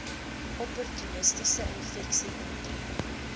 opportunistiese infeksies intree